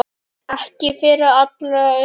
Ekki fyrir allra augum.